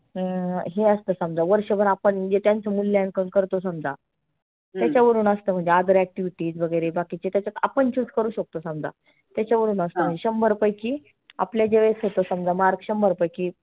अं हे असतं समजा वर्षभर आपण म्हणजे त्यांच मुल्यांकन करतो समजा. त्याच्यावरुण असतंं म्हणजे other activity वगैरे बाकी त्याच्यात आपण choose करु शकतो समजा. त्याच्यावरुण असत. शंभर पैकी आपल्या ज्यावेळेस होतं समजा mark शंभर पैकी